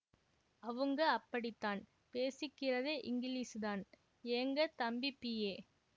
அவுங்க அப்படித்தான் பேசிக்கிறதே இங்கிலீசுதான் ஏங்க தம்பி பிஏ